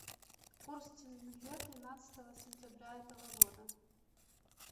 курс тенге тринадцатого сентября этого года